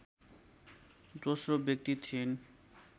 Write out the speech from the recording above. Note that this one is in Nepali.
दोश्रो व्यक्ति थिइन्